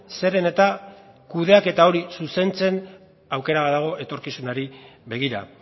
zeren eta kudeaketa hori zuzentzen aukera badago etorkizunari begira